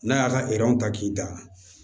N'a y'a ka ta k'i da